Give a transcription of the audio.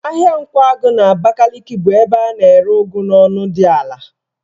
Ahịa Nkwagụ n'Abakaliki bụ ebe a na-ere ụgụ n'ọnụ ego dị ala.